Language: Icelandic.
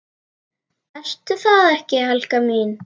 Ertu það ekki, Helga mín?